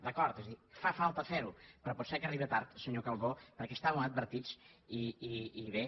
d’acord és a dir fa falta fer ho però pot ser que arribe tard senyor calbó perquè estàvem advertits i bé